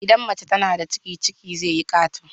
Idan mace tana da ciki ciki zai yi kato